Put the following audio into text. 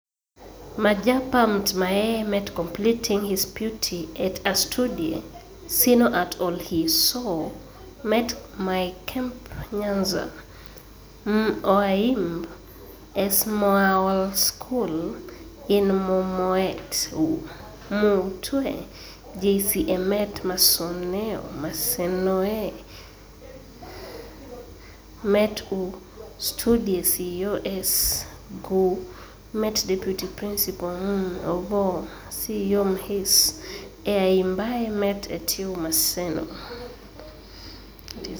majapa mtmaee met completing his puty et a studie cno at Olyhisooe met maecmp Nyanza, m OAyimb, s maolSchool in m Omet u, mwte Jc e met masenoe met u,studie ceo ec gooe met Deputy principal m Ogoo ceo mhis eAyimbae met etw Maseno